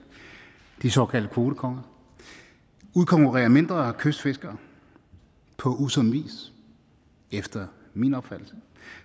de såkaldte kvotekonger udkonkurrere mindre kystfiskere på usund vis efter min opfattelse